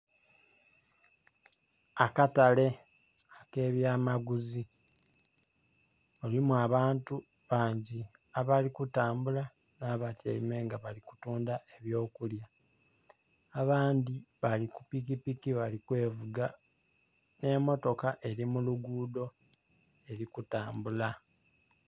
Akatale akebyamaguzi mulimu abantu bangi abali kutambula nabatyaime nga balikutundha ebyokulya abandhi bali kupikipiki balikwevuga n'emotoka eri mulugudho erikutambula.